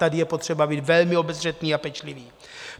Tady je potřeba být velmi obezřetný a pečlivý.